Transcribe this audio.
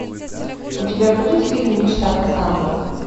у тебя будет фильм мечта кассандры